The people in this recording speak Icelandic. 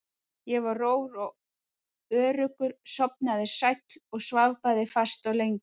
Ég var rór og öruggur, sofnaði sæll og svaf bæði fast og lengi.